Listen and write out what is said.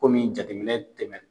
jateminɛ tɛmɛ.